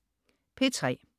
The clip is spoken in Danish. P3: